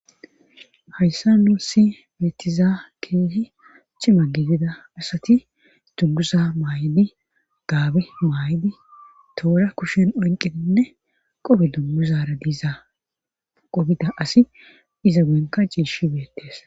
hayssa nuusi beetizaa keehi cima gidida asati dunguza maay7idi gaabe maayidi toora kushen onqininne qobe dunguzara diiza qobida asi iza goyenka ciishi beettees